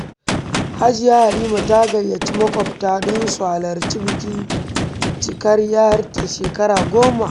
Hajiya Halima ta gayyaci maƙwabta don su halarci bikin cikar ‘yarta shekara goma.